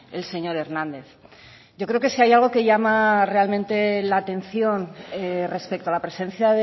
el señor hernández yo creo que si hay algo que llama realmente la atención respecto a la presencia